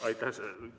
Aitäh!